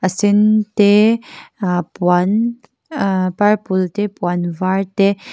a sen te ah puan ah purple te puan var te--